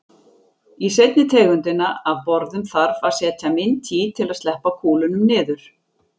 Í seinni tegundina af borðum þarf að setja mynt í til að sleppa kúlunum niður.